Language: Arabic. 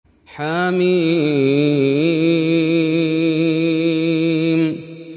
حم